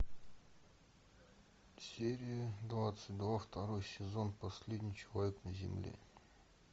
серия двадцать два второй сезон последний человек на земле